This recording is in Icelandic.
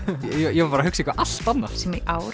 ég var bara hugsa eitthvað allt annað sem í ár